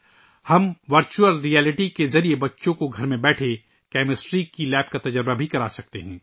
ہم virtual reality کے ذریعے بچوں کو گھر بیٹھے کیمسٹری لیب کا تجربہ بھی کرا سکتے ہیں